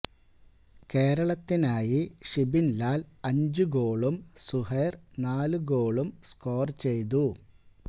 കേരളത്തിനായി ഷിബിന്ലാല് അഞ്ച് ഗോളും സുഹൈര് നാലു ഗോളും സ്കോര് ചെയ്തു